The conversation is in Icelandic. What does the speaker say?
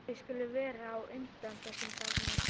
Við skulum vera á undan þessum þarna.